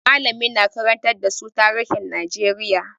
Mallamin na karantar da su tarihin Najeriya.